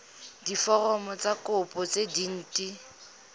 diforomo tsa kopo tse dint